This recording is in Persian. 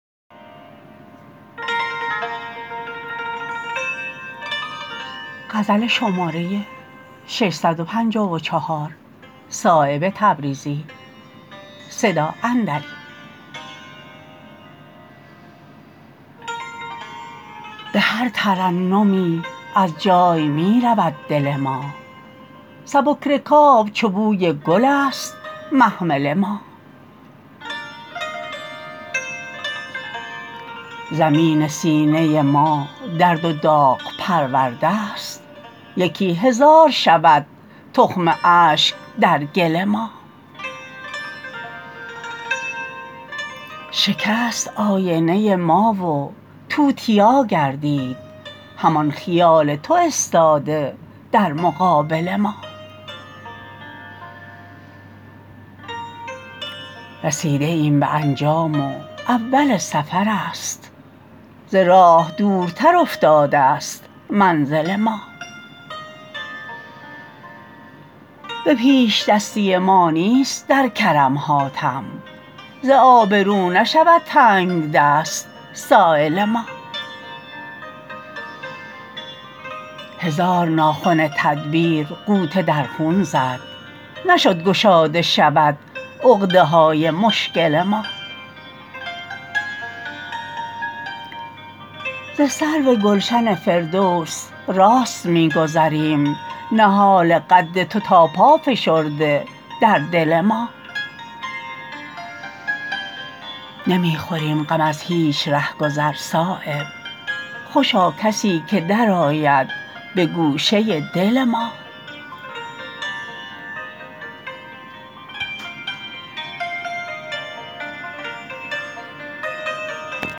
به هر ترنمی از جای می رود دل ما سبک رکاب چو بوی گل است محمل ما زمین سینه ما درد و داغ پروردست یکی هزار شود تخم اشک در گل ما شکست آینه ما و توتیا گردید همان خیال تو استاده در مقابل ما رسیده ایم به انجام و اول سفرست ز راه دورتر افتاده است منزل ما به پیشدستی ما نیست در کرم حاتم ز آبرو نشود تنگدست سایل ما هزار ناخن تدبیر غوطه در خون زد نشد گشاده شود عقده های مشکل ما ز سرو گلشن فردوس راست می گذریم نهال قد تو تا پا فشرده در دل ما نمی خوریم غم از هیچ رهگذر صایب خوشا کسی که درآید به گوشه دل ما